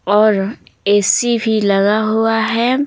और ए_सी भी लगा हुआ है।